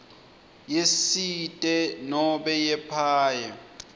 yesite nobe yepaye